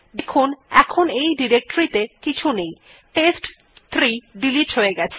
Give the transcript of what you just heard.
দেখুন এখন ডিরেক্টরী ত়ে কিছু নেই টেস্ট3 ডিলিট হয়ে গেছে